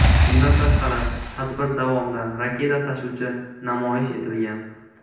Bundan tashqari, tadbir davomida raketa tashuvchi namoyish etilgan.